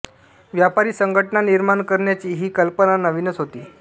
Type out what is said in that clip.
व्यापारी संघटना निर्माण करण्याची ही कल्पना नवीनच होती